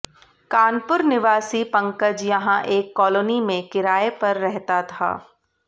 कानपुर निवासी पंकज यहां एक कॉलोनी में किराये पर रहता था